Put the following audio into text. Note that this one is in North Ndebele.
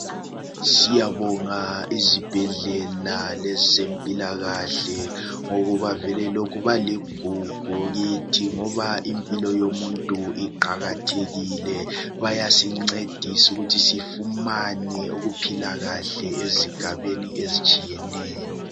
Siyabonga izibhedlela lezempilakahle ngokuba vele lokhu baligugu kithi ngoba impilo yomuntu iqakathekile. Kuyasincedisu kuthi sifumane ukuphilakahle ezigabeni ezitshiyeneyo.